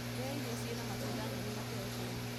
Ria irio cina matunda, nyeni na proteini.